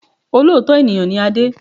Olóòótọ́ ènìyàn ni Adé